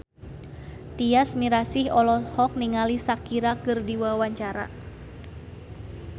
Tyas Mirasih olohok ningali Shakira keur diwawancara